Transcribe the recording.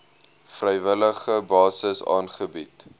vrywillige basis aangebied